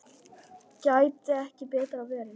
Gæti ekki betra verið.